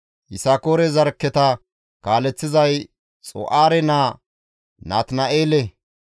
Yisakoore zarkketa kaaleththizay Xu7aare naa Natina7eele.